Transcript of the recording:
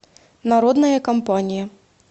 народная компания